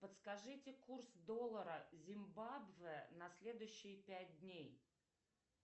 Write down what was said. подскажите курс доллара зимбабве на следующие пять дней